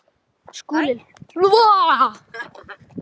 Skúli hlaut að ljúga.